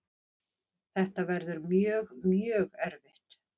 Þetta verður mjög, mjög erfitt.